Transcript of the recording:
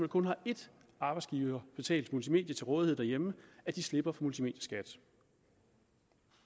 kun har ét arbejdsgiverbetalt multimedie til rådighed derhjemme slipper for multimedieskat